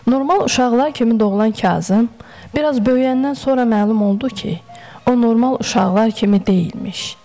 Normal uşaqlar kimi doğulan Kazım, biraz böyüyəndən sonra məlum oldu ki, o normal uşaqlar kimi deyilmiş.